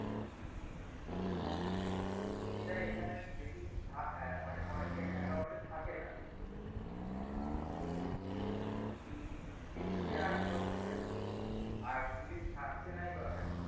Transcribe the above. এটা এখানে দেখি অনেক অনেকের account এ থাকে না তো এই police কে রাখা হচ্ছে কেন আর police থাকছেনাই বা কেন